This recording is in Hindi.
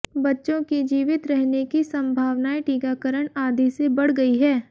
बच्चों की जीवित रहने की सम्भावनायें टीकाकरण आदि से बढ़ गई है